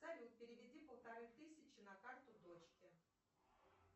салют переведи полторы тысячи на карту дочке